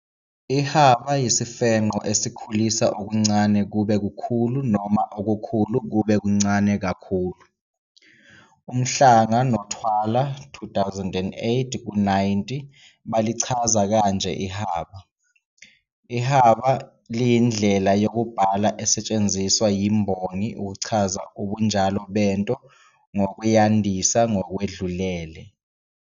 Ihaba yisifenqo esikhulisa okuncane kube kukhulu noma okukhulu kube kuncane kakhulu. UMhlanga noThwala, 2008-90, balichaza kanje ihaba, "Ihaba liyindlela yokubhala esetshenziswa yimbongi ukuchaza ubunjalo bento ngokuyandisa ngokwedlulele.